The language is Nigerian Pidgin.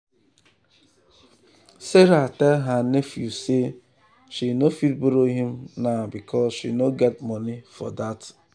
sarah tell her nephew say she no fit borrow him now because she no get money for that.